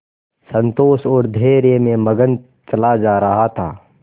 संतोष और धैर्य में मगन चला जा रहा था